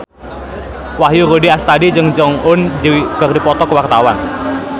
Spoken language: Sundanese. Wahyu Rudi Astadi jeung Jong Eun Ji keur dipoto ku wartawan